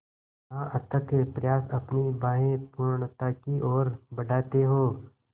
जहाँ अथक प्रयास अपनी बाहें पूर्णता की ओर बढातें हो